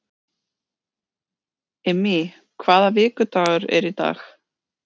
Immý, hvaða vikudagur er í dag?